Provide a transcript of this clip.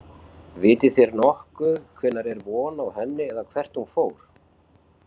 Vitið þér nokkuð hvenær er von á henni eða hvert hún fór?